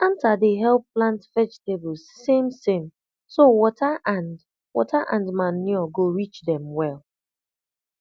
anter dey help plant vegetables samesame so water and water and manure go reach dem well